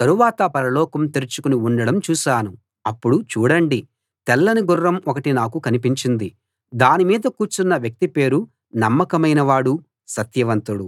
తరువాత పరలోకం తెరుచుకుని ఉండడం చూశాను అప్పుడు చూడండి తెల్లని గుర్రం ఒకటి నాకు కనిపించింది దానిమీద కూర్చున్న వ్యక్తి పేరు నమ్మకమైన వాడు సత్యవంతుడు